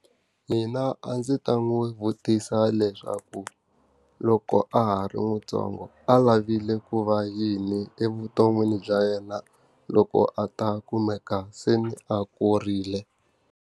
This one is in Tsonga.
Mina a ndzi ta n'wi vutisa leswaku loko a ha ri ntsongo a lavile ku va yini evuton'wini bya yena loko a ta kumeka se ni a kurile?